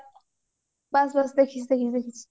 ବାସ୍ ବାସ୍ ଦେଖିଛି ଦେଖିଛି